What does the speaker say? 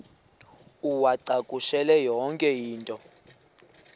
uwacakushele yonke into